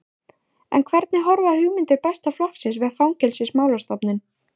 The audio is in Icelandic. En hvernig horfa hugmyndir Besta flokksins við Fangelsismálastofnun?